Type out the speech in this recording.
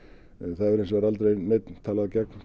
það hefur hins vegar aldrei neinn talað gegn